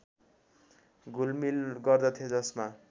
घुलमिल गर्दथे जसमा